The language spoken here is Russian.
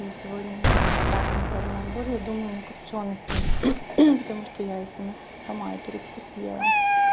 и сегодня у меня вот страшная головная боль я думаю на копчёности потому что я и сама сама эту рыбку съела